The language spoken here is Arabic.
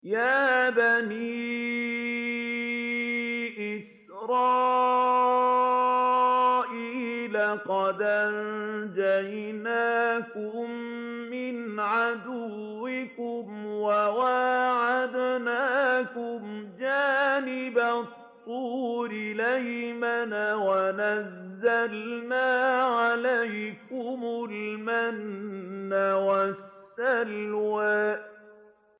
يَا بَنِي إِسْرَائِيلَ قَدْ أَنجَيْنَاكُم مِّنْ عَدُوِّكُمْ وَوَاعَدْنَاكُمْ جَانِبَ الطُّورِ الْأَيْمَنَ وَنَزَّلْنَا عَلَيْكُمُ الْمَنَّ وَالسَّلْوَىٰ